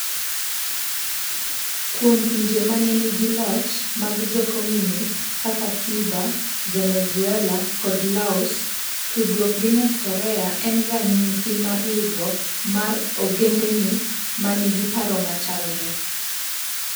Kuom pinje ma ne nigi loch mag jo Komunist kaka Cuba, Venezuela, kod Laos, tudruok gi North Korea en ranyisi mar riwruok mar ogendini ma nigi paro machalre.